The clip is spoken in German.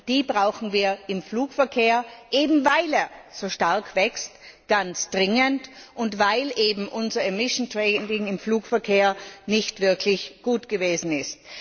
Die brauchen wir im Flugverkehr, eben weil er so stark wächst, ganz dringend, und weil unser emission trading im Flugverkehr nicht wirklich gut gewesen ist.